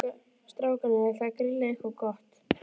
Strákarnir ætla að grilla eitthvað gott.